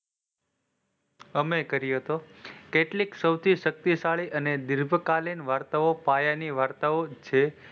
અમે કર્યો હતો કેટલી સૌથી શક્તિશાળી અને ડીલપકાલીન વાર્તાઓ પાયાની વાર્તાઓ છે.